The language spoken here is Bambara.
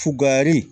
Fugari